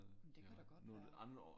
Det kan da godt være